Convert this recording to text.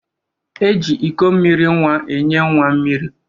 E ji iko mmiri nwa enye nwa mmiri.